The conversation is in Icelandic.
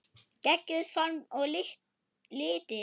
Geggjuð form og litir.